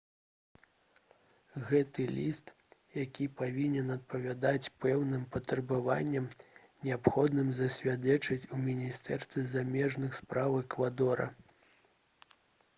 гэты ліст які павінен адпавядаць пэўным патрабаванням неабходна засведчыць у міністэрстве замежных спраў эквадора